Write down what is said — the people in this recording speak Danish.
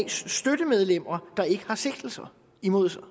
støttemedlemmer der ikke har sigtelser imod sig og